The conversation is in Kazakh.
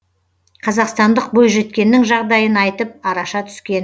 қазақстандық бойжеткеннің жағдайын айтып араша түскен